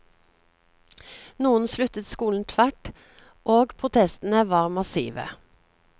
Noen sluttet skolen tvert, og protestene var massive.